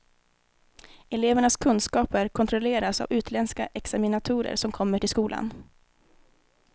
Elevernas kunskaper kontrolleras av utländska examinatorer som kommer till skolan.